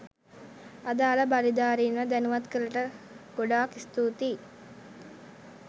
අදාල බලධාරීන්ව දැනුවත් කලට ගොඩාක් ස්තූතියි